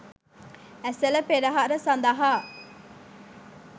ඇසළ පෙරහර සඳහා